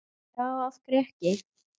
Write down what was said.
já af hverju ekki